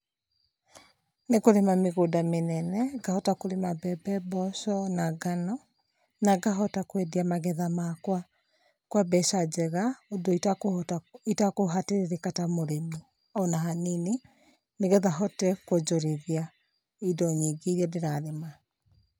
Nĩkũrĩma mĩgũnda mĩnene, ngahota kũrima mbembe, mboco na ngano, na ngahota kwendia magetha makwa kwa mbeca njega ũndũ itakũhota, itakũhatĩrĩrĩka ta mũrĩmi ona hanini, nĩgetha hote kwonjorithia indo nyingĩ iria ndĩrarĩma.